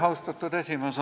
Austatud esimees!